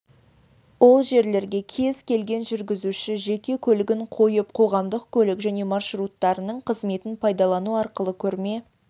ол жерлерге кез келген жүргізуші жеке көлігін қойып қоғамдық көлік және маршруттарының қызметін пайдалану арқылы көрме